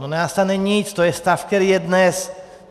No nenastane nic, to je stav, který je dnes.